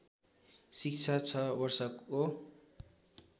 शिक्षा छ वर्षको